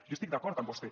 jo estic d’acord amb vostè